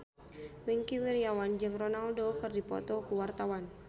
Wingky Wiryawan jeung Ronaldo keur dipoto ku wartawan